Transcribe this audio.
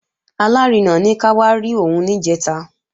Alárinà ní ká wá rí òun níjẹ̀ta